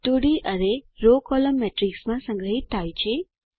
2 D array row column matrix માં સંગ્રહિત થાય છે